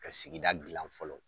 Ka sigida dilan fɔlɔ